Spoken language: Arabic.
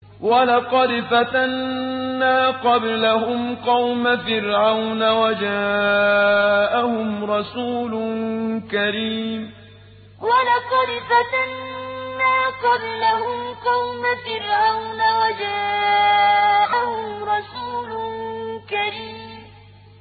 ۞ وَلَقَدْ فَتَنَّا قَبْلَهُمْ قَوْمَ فِرْعَوْنَ وَجَاءَهُمْ رَسُولٌ كَرِيمٌ ۞ وَلَقَدْ فَتَنَّا قَبْلَهُمْ قَوْمَ فِرْعَوْنَ وَجَاءَهُمْ رَسُولٌ كَرِيمٌ